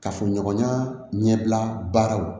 Kafoɲɔgɔnya ɲɛbila baaraw